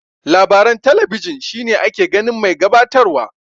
Labaran talabijin shine ake ganin mai gabatar wa.